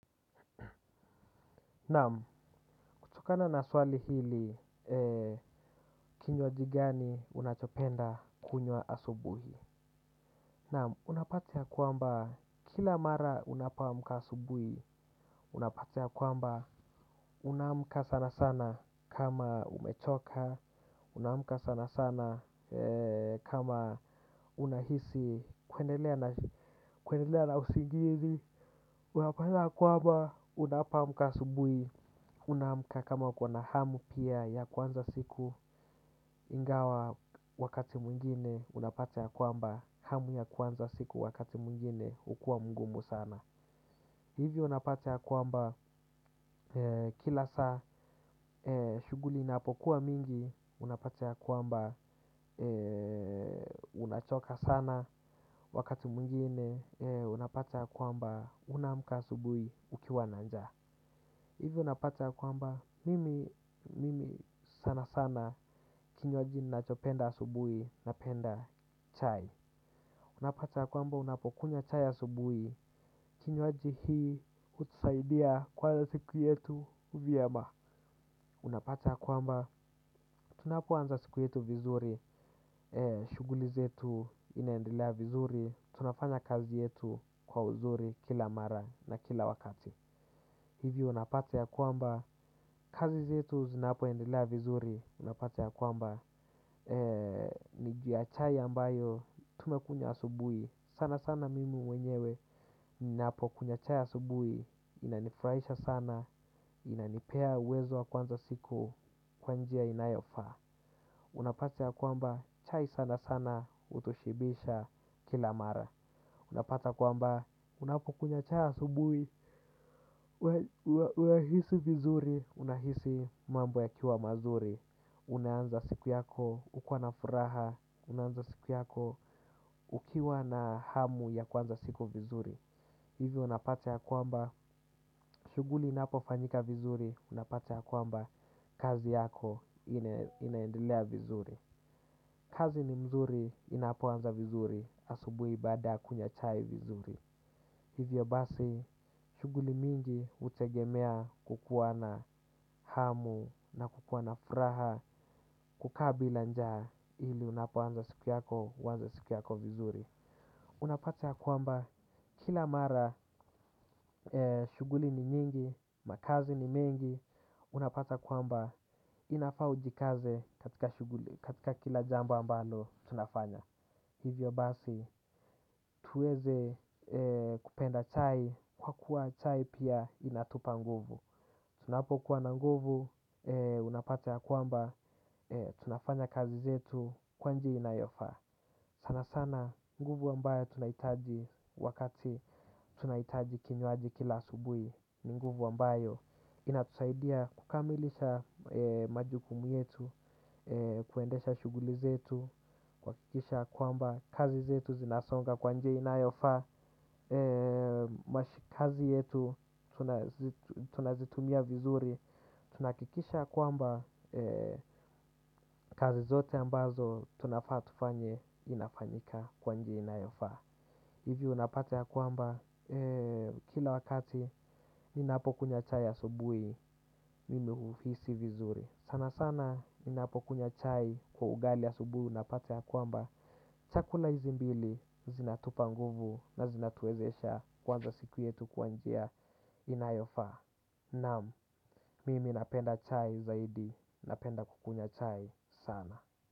Naam, kutokana na swali hili, kinywaji gani unachopenda kunywa asubuhi. Naam, unapata ya kwamba kila mara unapoamka asubuhi, unapata ya kwamba unaamka sana sana kama umechoka, unaamka sana sana kama unahisi kuendelea na usingizi. Unapata ya kwamba unapoamka asubuhi unaamka kama uko na hamu pia ya kuanza siku ingawa wakati mwingine unapata ya kwamba hamu ya kuanza siku wakati mwingine hukua mgumu sana. Hivyo unapata ya kwamba kila saa shughuli inapokuwa mingi unapata ya kwamba unachoka sana wakati mwingine unapata ya kwamba unaamka asubuhi ukiwa na njaa. Hivyo unapata ya kwamba, mimi sana sana kinywaji nachopenda asubuhi napenda chai. Unapata ya kwamba, unapokunywa chai asubuhi, kinywaji hii hutusaidia kwa siku yetu vyema. Unapata ya kwamba, tunapoanza siku yetu vizuri, shughuli zetu inaendelea vizuri, tunafanya kazi yetu kwa uzuri kila mara na kila wakati. Hivi unapata ya kwamba, kazi zetu zinapoendelea vizuri, unapata ya kwamba, ni juu ya chai ambayo tumekunywa asubuhi. Sana sana mimi mwenyewe, ninapo kunywa chai asubuhi, inanifurahisha sana, inanipea uwezo wa kuanza siku kwa njia inayofaa. Unapata ya kwamba, chai sana sana hutoshibisha kila mara. Unapata kwamba, unapokunywa chai asubuhi, unahisi vizuri, unahisi mambo yakiwa mazuri. Unaanza siku yako, ukiwa na furaha, unaanza siku yako, ukiwa na hamu ya kuanza siku vizuri. Hivyo unapata ya kwamba, shughuli inapofanyika vizuri, unapata ya kwamba, kazi yako inaendelea vizuri. Kazi ni mzuri, inapoanza vizuri, asubuhi baada ya kunywa chai vizuri. Hivyo basi, shughuli mingi hutegemea kukua na hamu na kukua na furaha kukaa bila njaa ili unapoanza siku yako, huanza siku yako vizuri. Unapata ya kwamba kila mara shughuli ni nyingi, makazi ni mengi, unapata kwamba inafaa ujikaze katika shughuli, katika kila jambo ambalo tunafanya. Hivyo basi tuweze kupenda chai kwa kuwa chai pia inatupa nguvu. Tunapokuwa na nguvu unapata ya kwamba tunafanya kazi zetu kwa njia inayofaa. Sana sana nguvu ambayo tunahitaji wakati tunahitaji kinywaji kila asubuhi ni nguvu ambayo inatusaidia kukamilisha majukumu yetu kuendesha shughuli zetu. Kuhakikisha kwamba kazi zetu zinasonga kwa njia inayofaa. Kazi yetu tunazitumia vizuri. Tunahakikisha kwamba kazi zote ambazo tunafaa tufanye inafanyika kwa njia inayofaa. Hivyo unapata ya kwamba kila wakati ninapokunywa chai asubuhi mimi huhisi vizuri. Sana sana ninapokunywa chai kwa ugali asubuhi unapata ya kwamba chakula hizi mbili zinatupa nguvu na zinatuwezesha kuanza siku yetu kwa njia inayofaa. Naam, mimi napenda chai zaidi, napenda kukunywa chai sana.